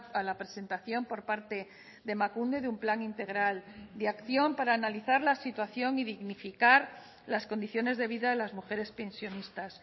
a la presentación por parte de emakunde de un plan integral de acción para analizar la situación y dignificar las condiciones de vida de las mujeres pensionistas